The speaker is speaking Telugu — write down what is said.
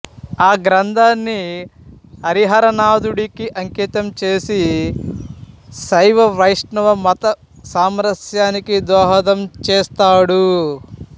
ఆ గ్రంధాన్ని హరిహరనాదుడికి అంకితం చేసి శైవ వైష్ణవ మత సామరస్యానికి దోహదం చేసాడు